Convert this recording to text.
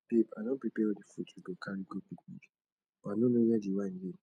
babe i don prepare all the fruits we go carry go picnic but i no know where the wine dey